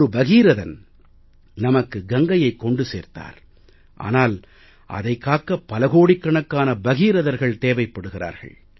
ஒரு பகீரதன் நமக்கு கங்கையை கொண்டு வந்தார் ஆனால் அதைக் காக்க பல கோடிக்கணக்கான பகீரதர்கள் தேவைப் படுகிறார்கள்